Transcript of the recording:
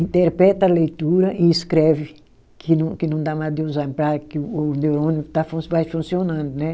Interpreta a leitura e escreve, que não que não dá mal de Alzheimer, para que o neurônio está fun, vai funcionando né.